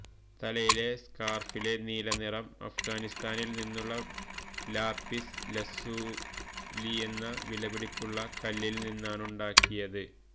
തലയിലെ സ്കാര്ഫിലെ നീലനിറം അഫ്ഗാനിസ്താനില് നിന്നുള്ള ലാപിസ് ലസൂലിയെന്ന വിലപിടിപ്പുള്ള കല്ലില്നിന്നാണുണ്ടാക്കിയത്